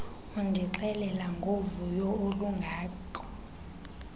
undixelela ngovuyo olungako